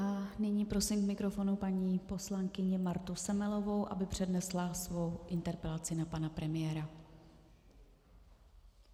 A nyní prosím k mikrofonu paní poslankyni Martu Semelovou, aby přednesla svou interpelaci na pana premiéra.